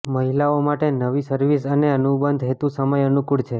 મહિલાઓ માટે નવી સર્વિસ અને અનુબંધ હેતુ સમય અનુકુળ છે